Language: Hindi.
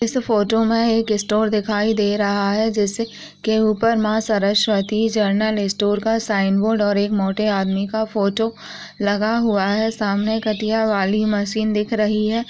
इस फोटो मे एक स्टोर दिखाई दे रहा है जिस के उपर मा सरस्वती जनरल स्टोर का साइन बोर्ड और एक मोटे आदमी का फोटो लगा हुआ है सामने कटिया वाली मशीन दिख रही है